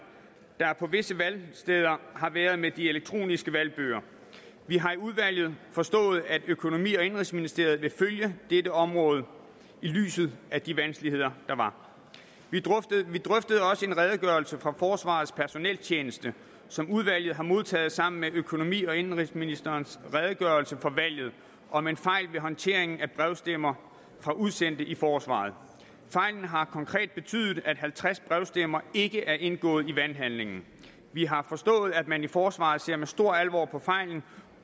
der på visse valgsteder har været med de elektroniske valgbøger vi har i udvalget forstået at økonomi og indenrigsministeriet vil følge dette område i lyset af de vanskeligheder der var vi drøftede også en redegørelse fra forsvarets personeltjeneste som udvalget har modtaget sammen med økonomi og indenrigsministerens redegørelse for valget om en fejl ved håndteringen af brevstemmer fra udsendte i forsvaret fejlen har konkret betydet at halvtreds brevstemmer ikke er indgået i valghandlingen vi har forstået at man i forsvaret ser med stor alvor på fejlen